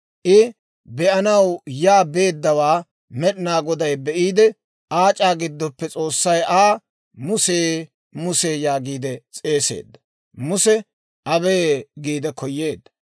I be'anaw yaa beeddawaa Med'inaa Goday be'iide aac'aa giddoppe S'oossay Aa, «Muse! Muse!» yaagiide s'eeseedda. Muse, «Abee» giide koyyeedda.